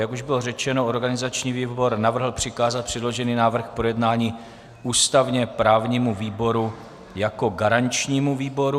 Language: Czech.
Jak už bylo řečeno, organizační výbor navrhl přikázat předložený návrh k projednání ústavně-právnímu výboru jako garančnímu výboru.